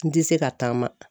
N ti se ka taama.